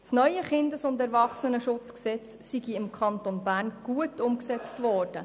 Das neue KESG sei im Kanton Bern gut umgesetzt worden.